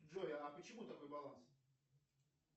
джой а почему такой баланс